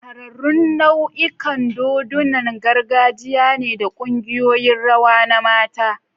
Shahararrun nau'ikan dodunan gargajiya ne da kungiyoyin rawa na mata.